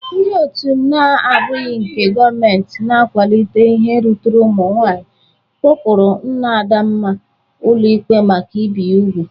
Ndị otu na-abụghi nke gọmenti na-akwalite ihe ruturu ụmụ nwaayị kpọpụrụ nna Adamma ụlọ ikpe maka ibi ya ubu.